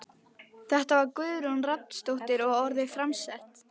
Þetta var Guðrún Rafnsdóttir og orðin framsett.